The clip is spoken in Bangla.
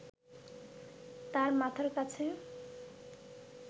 তাঁর মাথার কাছে